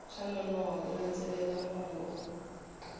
swa nonoha ku landzelela mongo